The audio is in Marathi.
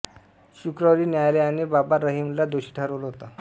शुक्रवारी न्यायालयाने बाबा राम रहीमला दोषी ठरवलं होतं